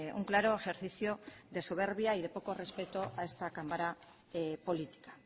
un claro ejercicio de soberbia y de poco respeto a esta cámara política